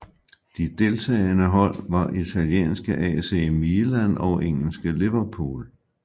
De deltagende hold var italienske AC Milan og engelske Liverpool